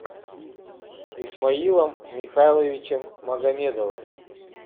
исмаилом михайловичем магомедовым